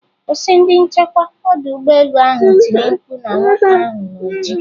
Kwụsị!,ndi nchekwa odu ugbo elu ahụ tiri mkpu na nwoke ahụ na oji.